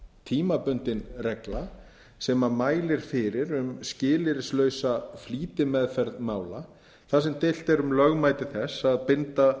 tímabundin regla sem mælir fyrir um skilyrðislausa flýtimeðferð mála þar sem deilt er um lögmæti þess að binda